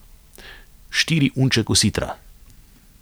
Štiri unče kositra.